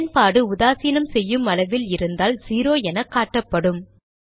பயன்பாடு உதாசீனம் செய்யும் அளவில் இருந்தால் 0 எனக்காட்டப்படும்